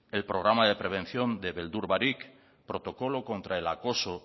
el programa de prevención de beldur barik protocolo contra el acoso